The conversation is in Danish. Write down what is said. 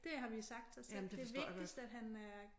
Det har vi sagt til os selv det vigtigst at han er